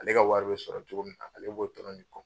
Ale ka wari be sɔrɔ cogo min na, ale b'o dɔrɔn de kɔ.